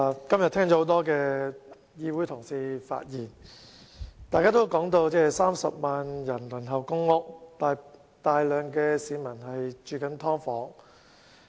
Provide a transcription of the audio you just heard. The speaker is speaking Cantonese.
今天聽到多位同事的發言，大家都提到有30萬人輪候公屋，以及有大量市民居於"劏房"。